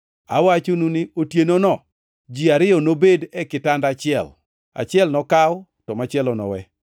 Awachonu ni, otienono ji ariyo nobed e kitanda achiel: achiel nokaw to machielo nowe.